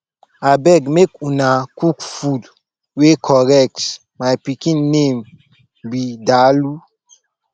abeg make una cook food wey correct my pikin name be dalu